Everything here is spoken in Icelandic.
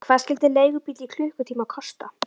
Hvað skyldi leigubíll í klukkutíma kosta?